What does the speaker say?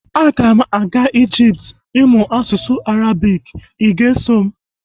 Ana m aga Ijipt ịmụ asụsụ Arabik, ị ga-eso m?